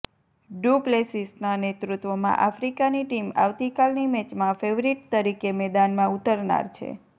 do પ્લેસીસના નેતૃત્વમાં આફ્રિકાની ટીમ આવતીકાલની મેચમાં ફેવરીટ તરીકે મેદાનમાં ઉતરનાર છે